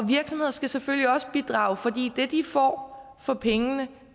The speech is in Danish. virksomheder skal selvfølgelig også bidrage fordi det de får for pengene